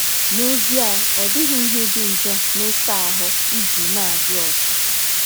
N'ezie, ọ dịghị ihe dị njọ n'ịsa ahụ iji na-adị ọcha.